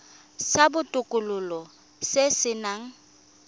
sa botokololo se se nang